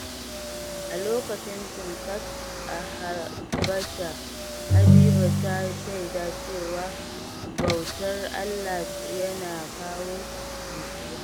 A lokacin Timkat a Habasha, Habiba ta shaida cewa bautar Allah yana kawo nutsuwa.